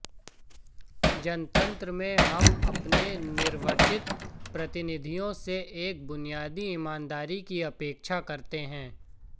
जनतंत्र में हम अपने निर्वाचित प्रतिनिधियों से एक बुनियादी ईमानदारी की अपेक्षा करते हैं